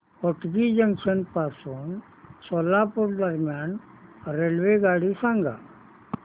Hotgi junction पासून सोलापूर दरम्यान रेल्वेगाडी सांगा